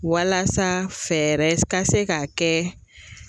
Walasa fɛɛrɛ ka se ka kɛ